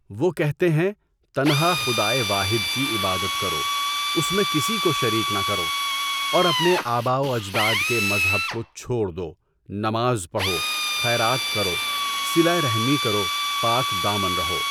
وہ کہتے ہیں، تنہا خدائے واحد کی عبادت کرو، اس میں کسی کو شریک نہ کرو اور اپنے اٰباء و اجداد کے مذہب کو چھوڑ دو، نماز پڑھو، خیرات کرو، صلہ رحمی کرو، پاک دامن رہو۔